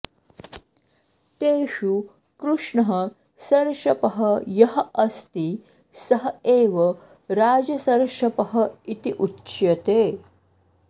तेषु कृष्णः सर्षपः यः अस्ति सः एव राजसर्षपः इति उच्यते